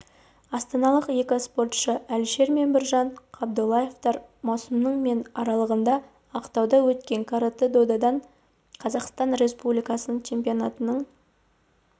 астаналық екі спортшы әлішер мен біржан қабдоллаевтар маусымның мен аралығында ақтауда өткен каратэ-додан қазақстан республикасының чемпионатының